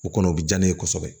O kɔnɔ o bi ja ne ye kosɛbɛ